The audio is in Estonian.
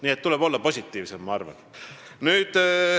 Nii et tuleb olla positiivsem, ma arvan.